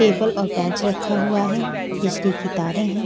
Table और bench रखा हुआ है बिजली की तारें हैं।